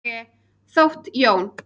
Þótt Jón.